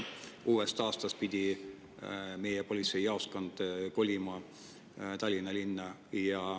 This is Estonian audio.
Uuest aastast pidi meie politseijaoskond kolima Tallinna linna.